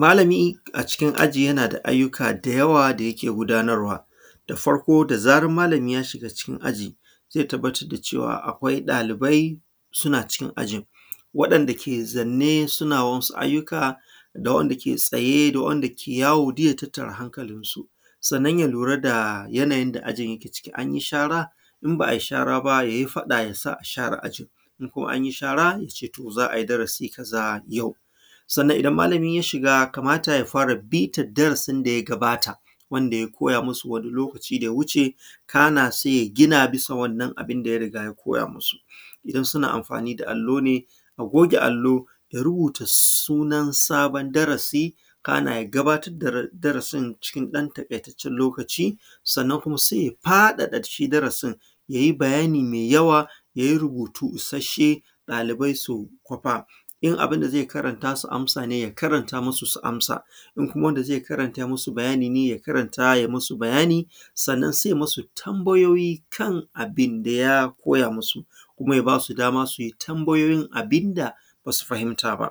Malami a cikin aji yana da ayyuka da yawa da yake gudanarwa da farko da zaran malami ya shiga cikin aji ze tabbatar da cewa akwai ɗalibai suna cikin ajin waɗanda kowa zanne suna wasu ayyuka da wanda ke tsaye da ke yawo. Duk ya tattara hankalin su sannan ya lura da yanayin da ajin yake ciki an yi shara in ba a yi shara ba, ya yi faɗa a share ajin ko an yi shara ya ce to za a yi darasi kaza, sannan idan malami ya shiga kamata ya yi ya fara bitan darasin da ya gabata wanda ya koya musu wani lokaci da ya wuce. Kana se ya nuna musu wannan abun da ya riga ya koya musu idan suna amfani da allo ne a goge allon ya rubutu sunan sabon darasi kana ya gabatar da darasin cikin ɗan taƙaitaccen lokaci, sannan kuma su faɗaɗa shi darasin ya yi bayani me yawa ya yi rubutu ishashe ɗalibai su kwafa in abun da ze karanta su amsa ya karanta su amsa in kuma wanda ze musu bayani ne ya karanta ya yi musu bayani. Sannan se ya musu tambayoyi kan abun da ya koya musu, kuma ya ba su dama su yi tambayoyin kan abun da ba su fahimta ba